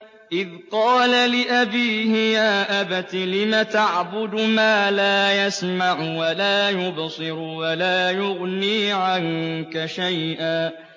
إِذْ قَالَ لِأَبِيهِ يَا أَبَتِ لِمَ تَعْبُدُ مَا لَا يَسْمَعُ وَلَا يُبْصِرُ وَلَا يُغْنِي عَنكَ شَيْئًا